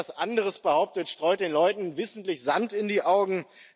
Wer etwas anderes behauptet, streut den Leuten wissentlich Sand in die Augen.